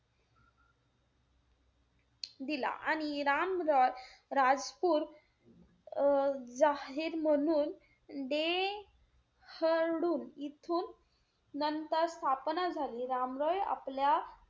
दिला आणि राम रॉय राजपुर अं जाहीर म्हणून डे हडून इथून नंतर स्थापना झाली. राम रॉय आपल्या,